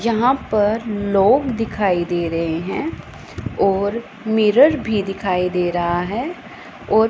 यहां पर लोग दिखाई दे रहे हैं और मिरर भी दिखाई दे रहा है और--